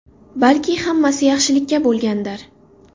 Balki hammasi yaxshilikka bo‘lgandir!?